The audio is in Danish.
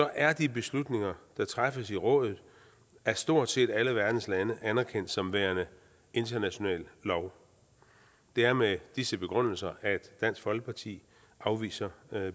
er de beslutninger der træffes i rådet af stort set alle verdens lande anerkendt som værende international lov det er med disse begrundelser at dansk folkeparti afviser